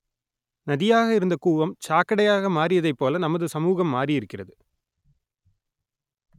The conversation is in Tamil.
நதியாக இருந்த கூவம் சாக்கடையாக மாறியதைப்போல நமது சமூகம் மாறியிருக்கிறது